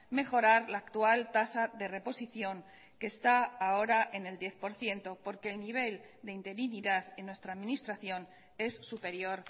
mejorar la actual tasa de reposición que está ahora en el diez por ciento porque el nivel de interinidad en nuestra administración es superior